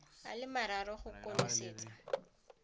a le mararo go konosetsa